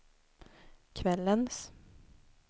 kvällens